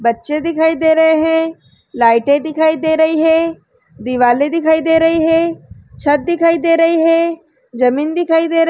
बच्चे दिखाई दे रहें हैं। लाइटे दिखाई दे रही हैं। दिवाले दिखाई दे रहें हैं। छत दिखाई दे रहे हैं। जमीन दिखाई दे रही--